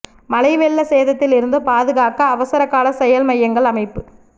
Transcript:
மழை வெள்ள சேதத்தில் இருந்து பாதுகாக்க அவசர கால செயல் மையங்கள் அமைப்பு